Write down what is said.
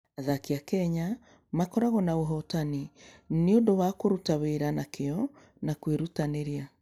Athaki a Kenya makoragwo na ũhootani nĩ ũndũ wa kũruta wĩra na kĩyo na kwĩrutanĩria.